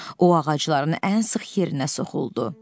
O ağacların ən sıx yerinə soxuldu.